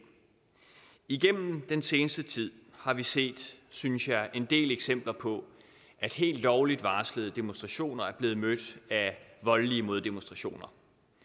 igennem den seneste tid har vi set synes jeg en del eksempler på at helt lovligt varslede demonstrationer er blevet mødt af voldelige moddemonstrationer